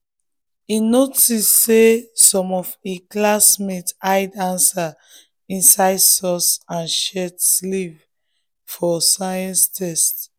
e notice say some of im classmates hide answers inside socks and shirt sleeve for science test.